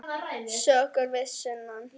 Sögur að sunnan.